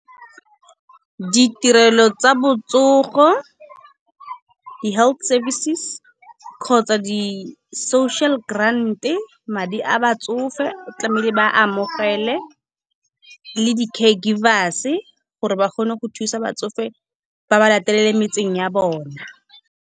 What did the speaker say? Ditirelo tsa botsogo, di-health services kgotsa di-social grant-e, madi a batsofe tlamehile ba amogele, le di-care givers gore ba kgone go thusa batsofe, ba ba latelele metseng ya bona.